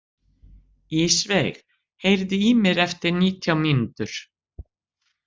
Ísveig, heyrðu í mér eftir nítján mínútur.